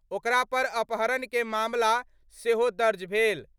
ओकरा पर अपहरण के मामला सेहो दर्ज भेल।